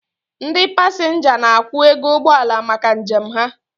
Ndị pasenga n'akwu ego ụgbọala maka njem ha